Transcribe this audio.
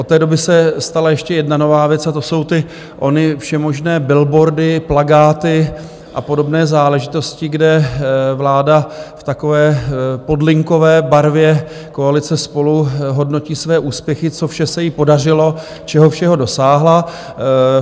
Od té doby se stala ještě jedna nová věc, a to jsou ty ony všemožné billboardy, plakáty a podobné záležitosti, kde vláda v takové podlinkové barvě koalice SPOLU hodnotí své úspěchy, co vše se jí podařilo, čeho všeho dosáhla.